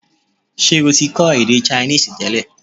Ṣé o ti kọ́ èdè Chinese tẹ́lẹ̀?